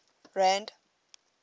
rand